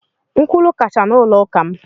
Nkwulu kacha n’ụlọ ụka m.